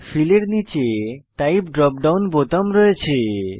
feel এর নীচে type drop down বোতাম রয়েছে